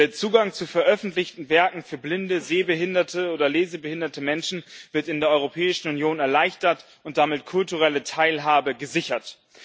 Der Zugang zu veröffentlichten Werken für blinde, sehbehinderte oder lesebehinderte Menschen wird in der Europäischen Union erleichtert und damit kulturelle Teilhabe gesichert.